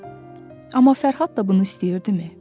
Amma Fərhad da bunu istəyirdimi?